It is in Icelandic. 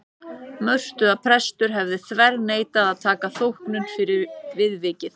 Mörtu að prestur hefði þverneitað að taka þóknun fyrir viðvikið.